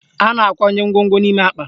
A na-akwanye ngwongwo n'ime akpa